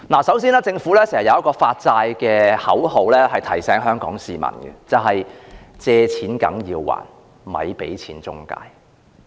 首先，政府有一句關於舉債的口號，經常提醒香港市民"借錢梗要還，咪俾錢中介"。